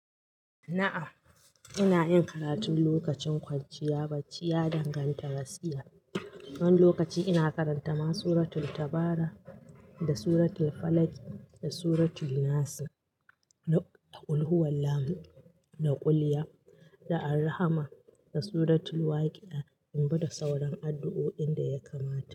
Na'am, ina yin karatun lokacin kwanciya bacci ya danganta gaskiya. Wani lokaci ina karanta ma suratul Tabara da suratul Falaq da suratul Nas, da ƙulhuwallahu da ƙulya, da Al-Rahman, da suratul Waqiah, in bi da sauran addu'o'in da ya kamata.